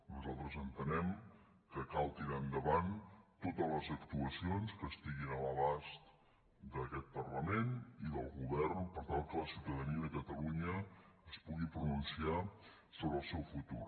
nosal·tres entenem que cal tirar endavant totes les actuaci·ons que estiguin a l’abast d’aquest parlament i del go·vern per tal que la ciutadania de catalunya es pugui pronunciar sobre el seu futur